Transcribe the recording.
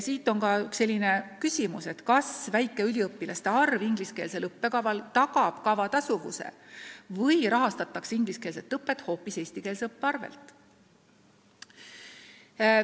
Siit kerkib ka küsimus, kas väike üliõpilaste arv ingliskeelsel õppekaval tagab kava tasuvuse või rahastatakse ingliskeelset õpet hoopis eestikeelse õppe arvel.